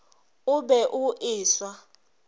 o be o e swa